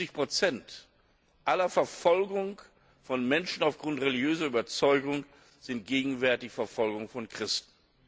Fünfundsiebzig Prozent aller Verfolgungen von Menschen aufgrund religiöser Überzeugung sind gegenwärtig Verfolgungen von Christen.